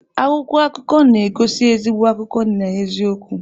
Akwụkwọ akụkọ na-egosi ezigbo akụkọ na eziokwu.